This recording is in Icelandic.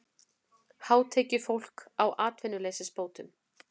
Hátekjufólk á atvinnuleysisbótum